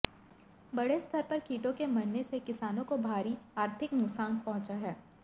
बड़े स्तर पर कीटों के मरने से किसानों को भारी आर्थिक नुकसान पहुंचा है